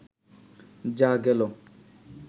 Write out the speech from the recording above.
যাঃ গেল